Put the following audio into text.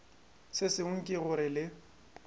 se sengwe ke gore le